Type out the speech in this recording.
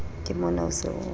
ke mona o se o